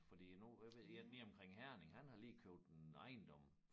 Fordi nu jeg ved én lige omkring Herning han har lige købt en ejendom